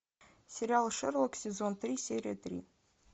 сериал шерлок сезон три серия три